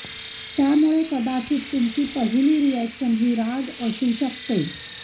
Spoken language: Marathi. त्यामुळे कदाचित तुमची पहिली रिअॅक्शन ही राग असू शकते